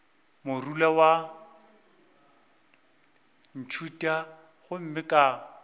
morula wa ntšhutha gomme ka